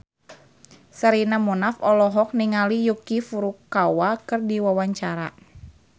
Sherina Munaf olohok ningali Yuki Furukawa keur diwawancara